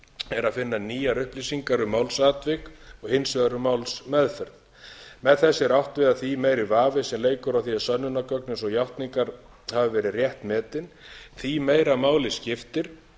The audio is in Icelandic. er að finna nýjar upplýsingar um málsatvik og hins vegar um málsmeðferð með þessu er átt við að því meiri vafi sem leikur á því að sönnunargögn eins og játningar hafi verið rétt metin því meira máli skiptir